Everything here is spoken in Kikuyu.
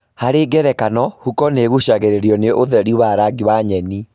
Harĩ ngerekano, huko nĩigucagĩrĩrio nĩ ũtheri wa rangi wa nyeni